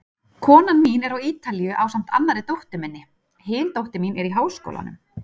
Konan mín er á Ítalíu ásamt annarri dóttur minni, hin dóttir mín er í háskólanum.